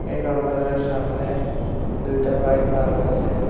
এই কাউন্টার এর সামনে দুইটা বাইক পার্ক আছে।